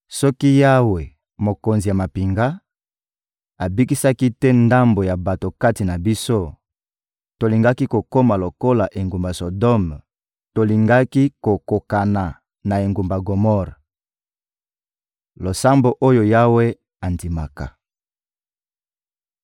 Soki Yawe, Mokonzi ya mampinga, abikisaki te ndambo ya bato kati na biso, tolingaki kokoma lokola engumba Sodome, tolingaki kokokana na engumba Gomore. Losambo oyo Yawe andimaka